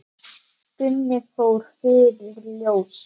Gunni fór fyrir ljósið.